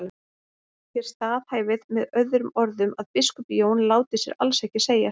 Þér staðhæfið með öðrum orðum að biskup Jón láti sér alls ekki segjast.